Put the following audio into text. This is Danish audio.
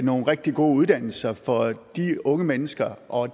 nogle rigtig gode uddannelser for de unge mennesker og